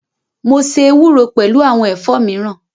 Mo ṣe ewúro pẹlu awọn ẹ̀fọ́ miran